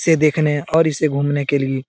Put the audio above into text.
इसे देखने और इसे घूमने के लिए।